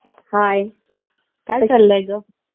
हाय काय चाललंय ग